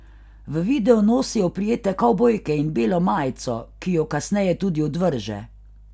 V videu nosi oprijete kavbojke in belo majico, ki ju kasneje tudi odvrže.